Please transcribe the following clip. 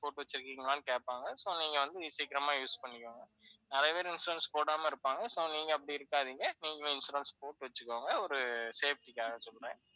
போட்டுவச்சுருக்கீங்களான்னு கேப்பாங்க. so நீங்க வந்து சீக்கிரமா use பண்ணிக்கோங்க. நிறைய பேர் insurance போடாம இருப்பாங்க, so நீங்க அப்படி இருக்காதீங்க நீங்க insurance போட்டு வச்சுக்கோங்க ஒரு safety காக சொல்றேன்.